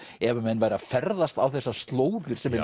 ef menn væru að ferðast á þessar slóðir sem er